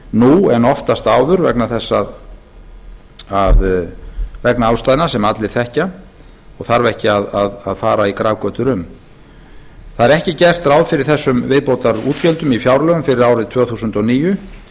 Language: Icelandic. nú en oftast áður vegna ástæðna sem allir þekkja og þarf ekki að fara í grafgötur um ekki er gert ráð fyrir þessum viðbótar útgjöldum í fjárlögum fyrir árið tvö þúsund og níu